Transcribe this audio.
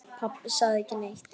Pabbi sagði ekki neitt.